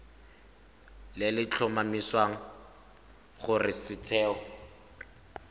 le le tlhomamisang gore setheo